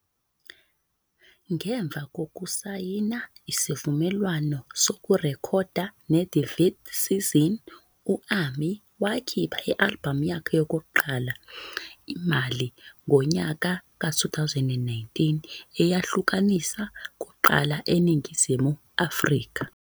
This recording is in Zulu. Ngemva kokusayina isivumelwano sokurekhoda ne-The Vth Season, u-Ami wakhipha i-albhamu yakhe yokuqala "I-Imali" ngonyaka ka- 2019, eyahlaluka kuqala eNingizimu Afrika.